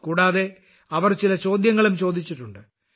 കൂടാതെ അവർ ചില ചോദ്യങ്ങളും ചോദിച്ചിട്ടുണ്ട്